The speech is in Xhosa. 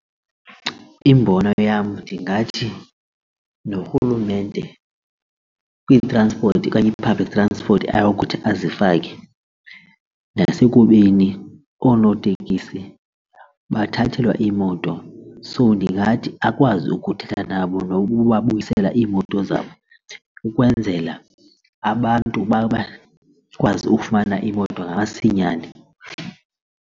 Imbono yam ndingathi norhulumente kwi-transport okanye i-public transport ayokuthi azifake nasekubeni oonotekisi bathathelwa iimoto. So ndingathi akwazi ukuthetha nabo nokubabuyisela iimoto zabo ukwenzela abantu bakwazi ukufumana imoto ngamasinyane.